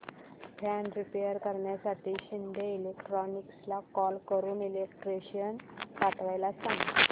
fan repair करण्यासाठी शिंदे इलेक्ट्रॉनिक्सला call करून इलेक्ट्रिशियन पाठवायला सांग